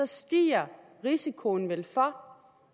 stiger risikoen vel for